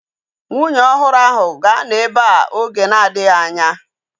Nwunye ọhụrụ ahu ga-anọ ebea oge na-adịghị anya